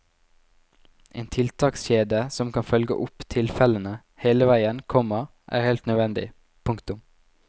En tiltakskjede som kan følge opp tilfellene hele veien, komma er helt nødvendig. punktum